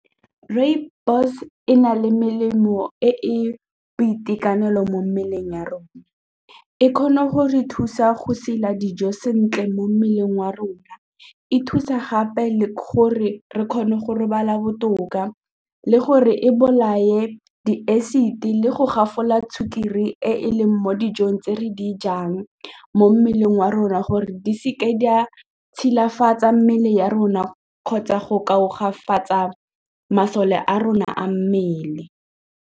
Rooibos e na le melemo e e boitekanelo mo mmeleng ya rona, e kgone go re thusa go sela dijo sentle mo mmeleng wa rona e thusa gape le gore re kgone go robala botoka le gore e bolae di-acid-e le go gafola le sukiri e leng mo dijong tse re di jang mo mmeleng wa rona gore di seke di a tshilafatsa mmele ya rona kgotsa go tlhagafatsa masole a rona a mmele.